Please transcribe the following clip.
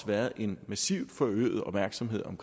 været en massiv forøget opmærksomhed om